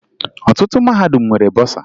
Ọtụtụ mahadum nwere bọsaa